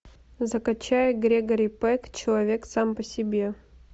закачай грегори пек человек сам по себе